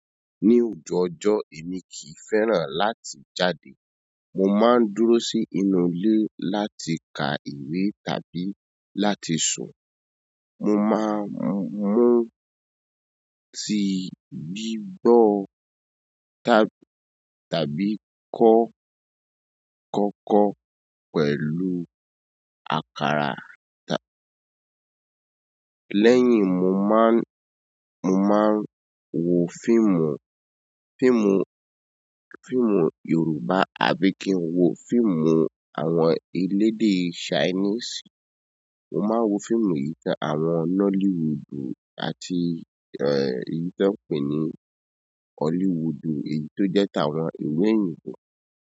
Ní òjò ọjọ́, èmi kì í fẹ́ràn láti jáde. Mo máa ń dúró sí inú ilé láti ka ìwé tàbí láti sun. Mo máa ń mú tí bíbọ̀ tàbí kọ́ kókó pẹ̀lú àkàrà. Lẹ́yìn, mo má ń, mo máa ń wo fíìmù, fíìmù, fíìmù Yorùbá àbí kí n wo fíìmù àwọn ẹ̀lèdè Ṣainíìsì. Mo máa ń wo fíìmù ìtàn àwọn Nollywoodu àti, ẹ, èyí tí wọ́n ń pè ní Hollywoodu, èyí tó jẹ́ ta àwọn ìlu oyinbo.